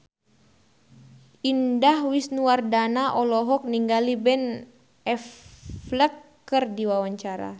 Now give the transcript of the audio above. Indah Wisnuwardana olohok ningali Ben Affleck keur diwawancara